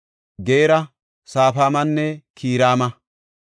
Geera, Safufaamanne Kiraama.